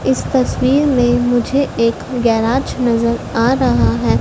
इस तस्वीर में मुझे एक गैराज नजर आ रहा है।